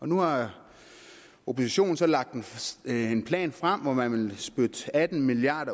nu har oppositionen så lagt en en plan frem hvor man vil spytte atten milliard